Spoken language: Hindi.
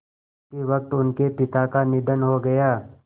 उसी वक़्त उनके पिता का निधन हो गया